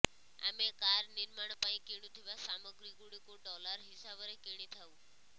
ଆମେ କାର୍ ନିର୍ମାଣ ପାଇଁ କିଣୁଥିବା ସାମଗ୍ରୀ ଗୁଡ଼ିକୁ ଡଲାର୍ ହିସାବରେ କିଣିଥାଉ